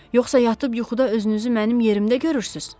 Yoxsa yatıb yuxuda özünüzü mənim yerimdə görürsüz?